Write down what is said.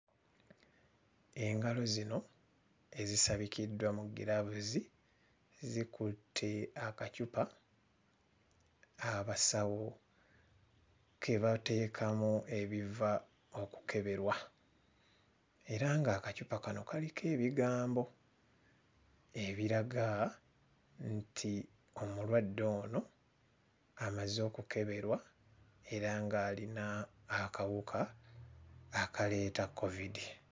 Engalo zino ezisabikiddwa mu giraavuzi zikutte akacupa abasawo ke bateekamu ebiva okukeberwa era ng'akacupa kano kaliko ebigambo ebiraga nti omulwadde ono amaze okukeberwa era ng'alina akawuka akaleeta kkovidi.